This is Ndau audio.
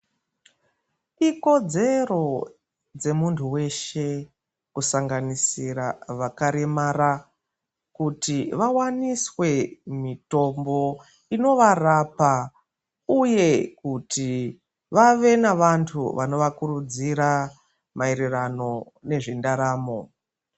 Ikodzero dzemuntu weshe kusanganisira vakaremara kuti vawaniswe mitombo inovarapa uye kuti vave nevantu vanovakurudzira mayererano nezvendaramo.